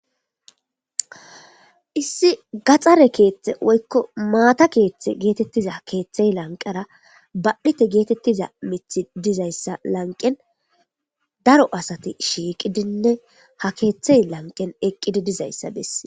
Issi gaxxare keeththe woykko mataa keeththe geetettiza keeththey lanqera badhdhite geetettiza miththi dizayssa lanqen daro asati shiiqidinne ha keeththey lanqen eqqidi dizayssa besses.